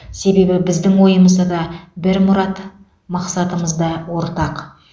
себебі біздің ойымыз да бір мұрат мақсатымыз да ортақ